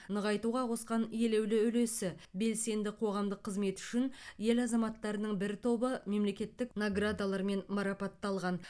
нығайтуға қосқан елеулі үлесі белсенді қоғамдық қызметі үшін ел азаматтарының бір тобы мемлекеттік наградалармен марапатталған